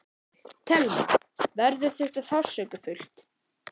Telma: Verður þetta sársaukafullt?